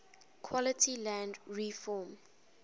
quality land reform